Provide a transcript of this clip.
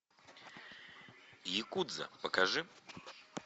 якудза покажи